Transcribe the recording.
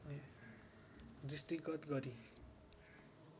दृष्टिगत गरी